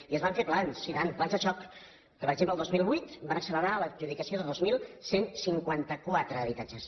i es van fer plans i tant plans de xoc que per exemple el dos mil vuit van accelerar l’adjudicació de dos mil cent i cinquanta quatre habitatges